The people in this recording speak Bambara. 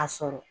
A sɔrɔ